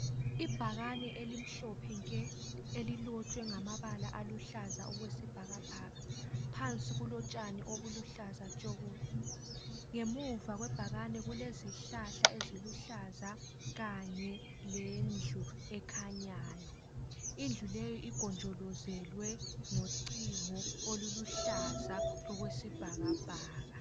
Ibhakane elimhlophe nke, elilotshwe ngamabala aluhlaza okwesibhakabhaka. Phansi kulotshani obuluhlaza tshoko. Ngemuva kwe bhakane kulezihlahla eziluhlaza kanye lendlu ekhanyayo. Indlu leyi igonjolozelwe ngocingo oluluhlaza okwesibhakabhaka.